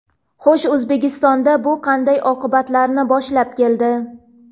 Xo‘sh, O‘zbekistonda bu qanday oqibatlarni boshlab keldi?